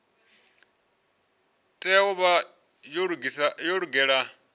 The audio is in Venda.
tea u vha yo lugela